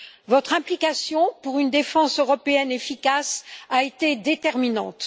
Votre implication pour une défense européenne efficace a été déterminante.